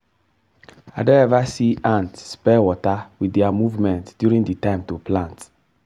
i don ever see ant spell 'water' wit their movement during time to plant.